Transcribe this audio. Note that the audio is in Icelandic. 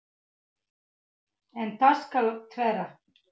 En það skal þvera.